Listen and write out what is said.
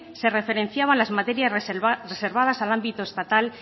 se referenciaban las materias reservadas al ámbito estatal